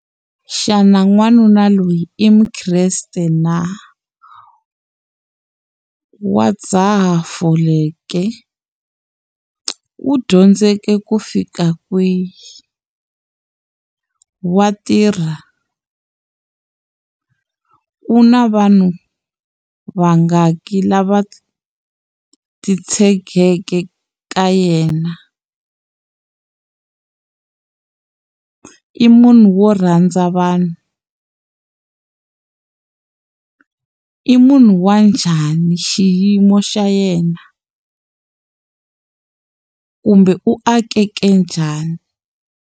Xana n'wanuna loyi i mukreste na wa dzaha fole ke u dyondzeke ku fika kwihi wa tirha ku na vanhu vangaki lava titshegeke ka yena i munhu wo rhandza vanhu i munhu wa njhani xiyimo xa yena kumbe u akeke njhani.